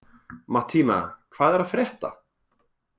Mattína, hvað er að frétta?